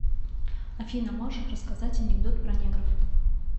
афина можешь рассказать анекдот про негров